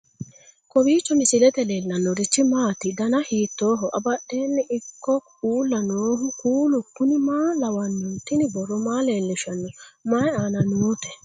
kowiicho misilete leellanorichi maati ? dana hiittooho ?abadhhenni ikko uulla noohu kuulu kuni maa lawannoho? tini borro maa leellishshanno mayi aana noote